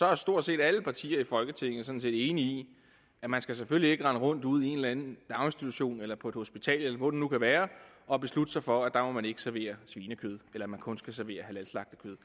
er stort set alle partier i folketinget sådan set enige i at man selvfølgelig ikke skal rende rundt ude i en eller anden daginstitution eller på et hospital eller hvor det nu kan være og beslutte sig for at der må man ikke servere svinekød eller at man kun skal servere halalslagtet kød